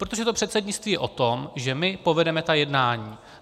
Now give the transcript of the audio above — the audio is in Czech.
Protože to předsednictví je o tom, že my povedeme ta jednání.